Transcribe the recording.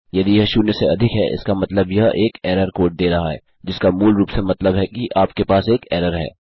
यदि यह शून्य से अधिक है इसका मतलब यह एक एरर कोड दे रहा है जिसका मूल रूप से मतलब है कि आपके पास एक एरर है